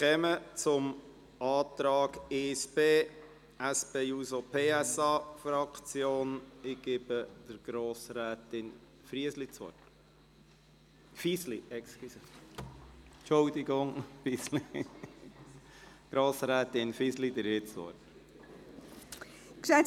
Die Saldi im Voranschlag und im Aufgaben-/Finanzplan sind so anzupassen, dass weiterhin 0,3 Prozent zur Korrektur der Lohnrückstände eingesetzt werden können (Saldoverschlechterung um 12 Millionen Franken).